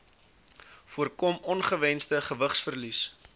voorkom ongewensde gewigsverlies